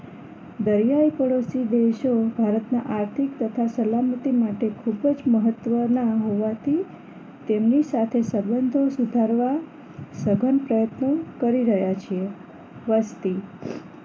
દરિયાઈ પડોશી દેશો ભારતના આર્થિક તથા સલામતી માટે ખૂબ જ મહત્વના હોવાથી તેમની સાથે સંબંધો સુધારવા સઘન પ્રયત્નો કરી રહ્યા છે વસ્તી